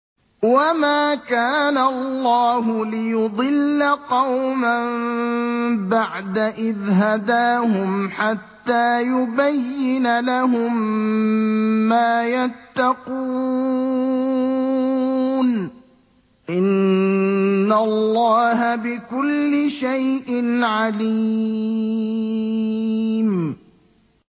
وَمَا كَانَ اللَّهُ لِيُضِلَّ قَوْمًا بَعْدَ إِذْ هَدَاهُمْ حَتَّىٰ يُبَيِّنَ لَهُم مَّا يَتَّقُونَ ۚ إِنَّ اللَّهَ بِكُلِّ شَيْءٍ عَلِيمٌ